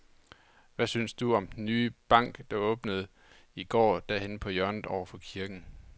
Hvad synes du om den nye bank, der åbnede i går dernede på hjørnet over for kirken?